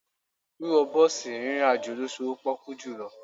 Wíwọ bọ́ọ̀sì rìnrìn àjò ló sowó pọ́kú jùlọ.